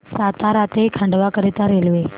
सातारा ते खंडवा करीता रेल्वे